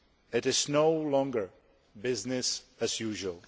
it is no longer business as usual.